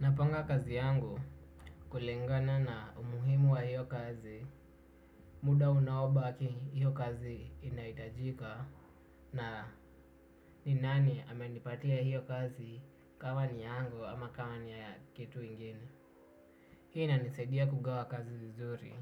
Napanga kazi yangu kulingana na umuhimu wa hiyo kazi, muda unaobaki hiyo kazi inahitajika na ni nani amenipatia hiyo kazi kama ni yangu ama kama ni ya kitu ingine. Hii inanisaidia kugawa kazi vizuri,